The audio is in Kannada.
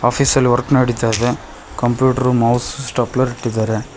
ಆಫೀಸಲ್ ವರ್ಕ್ ನಡೀತಾ ಇದೆ ಕಂಪ್ಯೂಟರ್ ಮೌಸ್ ಸ್ಟೆಪ್ಲರ್ ಇಟ್ಟಿದ್ದಾರೆ.